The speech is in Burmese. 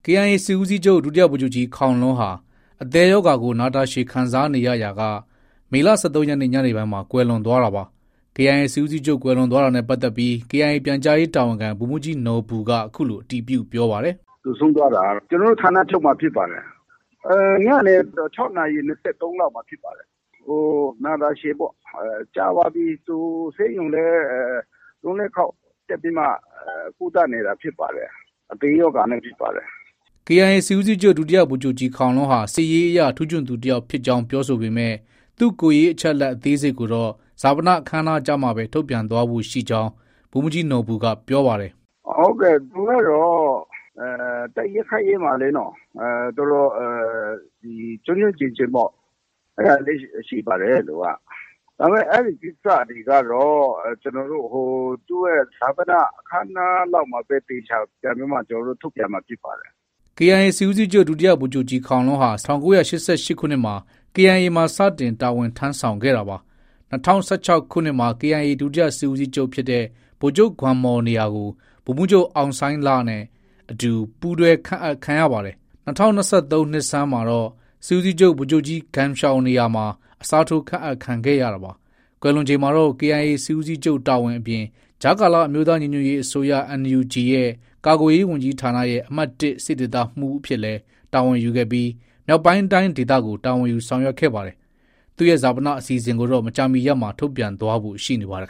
KIA စစ်ဦးစီးချုပ် ဒုဗိုလ်ချုပ်ကြီးခေါင်လွန်းဟာ အသည်းရောဂါကို နာတာရှည်ခံစားနေရရာက မေလ ၁၃ရက်နေ့ ညနေပိုင်းမှာ ကွယ်လွန်သွားတာပါ။ KIA စစ်ဦးစီးချုပ်ကွယ်လွန်သွားတာနဲ့ ပတ်သက်ပြီး KIA ပြန်ကြားရေးတာဝန်ခံ ဗိုလ်မှုးကြီးနော်ဘူက အခုလို အတည်ပြုပြောပါတယ်။ “ သူဆုံးသွားတာကတော့ ကျနော်တို့ ဌာနချုပ်မှာ ဖြစ်ပါတယ်။ ညနေ ၆နာရီ ၂၃လောက်မှာ ဖြစ်ပါတယ်။ နာတာရှည်ပေါ့။ ကြာပါပြီ သူဆေးရုံလည်း ၃- ၄ခေါက် တက်ပြီးမှ ကုသနေတာဖြစ်ပါတယ်။ အသည်းရောဂါနဲ့ဖြစ်ပါတယ်။ ” KIA စစ်ဦးစီးချုပ် ဒုဗိုလ်ချုပ်ကြီးခေါင်လွန်းဟာ စစ်ရေးအရ ထူးချွန်သူတယောက်ဖြစ်ကြောင်း ပြောဆိုပေမဲ့ သူကိုယ်ရေးအချက်အလက် အသေးစိတ်ကိုတော့ ဈာပနအခမ်းအနားကျမှဘဲ ထုတ်ပြန်သွားဖို့ ရှိနေကြောင်း ဗိုလ်မှုးကြီးနော်ဘူက ပြောပါတယ်။ “ ဟုတ်ကဲ့ သူကတော့ တိုက်ရေးခိုက်ရေးမှာလေ၊ တော်တော် ကျွမ်းကျွမ်းကျင်ကျင်ပေါ့။ အဲဒါလေးတွေ ရှိပါတယ်။ ဒါပေမဲ့ အဲဒီကိစ္စတွေကတော့ သူ့ရဲ့ ဈာပန အခမ်းအနားလောက်မှာပဲ အသေအချာပြန်ထုတ်ပြန်မှာ ဖြစ်ပါတယ်။ ” KIA စစ်ဦးစီးချုပ် ဒုဗိုလ်ချုပ်ကြီးခေါင်လွန်းဟာ ၁၉၈၈ခုနှစ်မှာ KIA မှာ စတင်တာဝန်ထမ်းဆောင်ခဲ့တာပါ။ ၂၀၁၆ခုနှစ်မှာ KIA ဒုတိယစစ်ဦးစီချုပ်ဖြစ်တဲ့ ဗိုလ်ချုပ် ဂွမ်မော်နေရာကို ဗိုလ်မှုးချုပ် အောင်ဆိုင်းလနဲ့အတူ ပူးတွဲ ခန့်အပ်ခံရပါတယ်။ ၂၀၂၃ခုနှစ်ဆန်းမှာတော့ စစ်ဦးစီးချုပ် ဗိုလ်ချုပ်ကြီး ဂမ်ရှောင်နေရာမှာ အစားထိုး ခန့်အပ်ခံခဲ့ရတာပါ။ ကွယ်လွန်ချိန်မှာတော့ KIA စစ်ဦးစီးချုပ်တာဝန်အပြင် ကြားကာလ အမျိုးသားညီညွတ်ရေးအစိုးရ NUG ရဲ့ ကာကွယ်ရေးဝန်ကြီးဌာနရဲ့ အမှတ် စစ်ဒေသမှုအဖြစ်လည်း တာဝန်ယူခဲ့ပြီး မြောက်ပိုင်းတိုင်းဒေသကို တာဝန်ယူဆောင်ရွက်ခဲ့ပါတယ်။ သူရဲ့ဈာပနအခမ်းအနားအစီအစဉ်ကိုတော့ မကြာမီ ရက်မှာ ထုတ်ပြန်သွားဖို့ ရှိနေပါတယ်